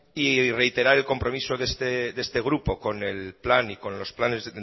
y reiterar el compromiso de este grupo con el plan y con los planes